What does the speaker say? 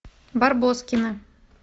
барбоскины